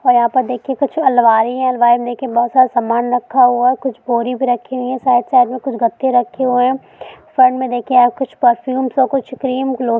ओर यहाँ पर देखिए कुछ अलमारी है अलमारी मे देखिए बहोत सारा समान रखा हुआ है कुछ बोरी भी रखी हुई है साथ - साथ मे कुछ गत्ते रखे हुए है सामने देखिए कुछ पर्फ्यूम सा कुछ क्रीम--